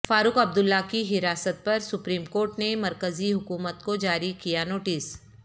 فاروق Abdullah کی حراست پر سپریم کورٹ نے مرکزی حکومت کو جاری کیا نوٹس